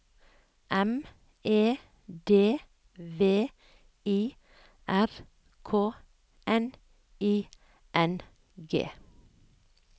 M E D V I R K N I N G